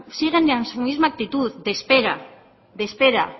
siguen en su misma actitud de espera de espera